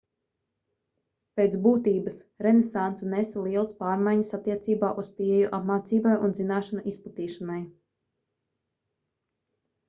pēc būtības renesanse nesa lielas pārmaiņas attiecībā uz pieeju apmācībai un zināšanu izplatīšanai